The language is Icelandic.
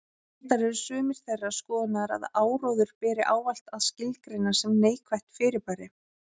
Reyndar eru sumir þeirrar skoðunar að áróður beri ávallt að skilgreina sem neikvætt fyrirbæri.